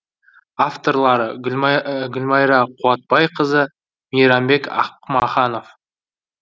авторлары гүлмайра қуатбайқызы мейрамбек ақмаханов